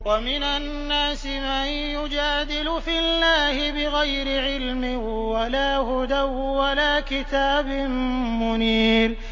وَمِنَ النَّاسِ مَن يُجَادِلُ فِي اللَّهِ بِغَيْرِ عِلْمٍ وَلَا هُدًى وَلَا كِتَابٍ مُّنِيرٍ